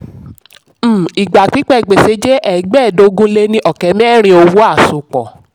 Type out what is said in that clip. um ìgbà pípẹ́ gbèsè jẹ́ ẹgbẹ́ẹ́ẹdógún lé ní ọ̀kẹ́ mẹ́rin owó àsopọ̀. um